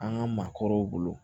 An ka maakɔrɔw bolo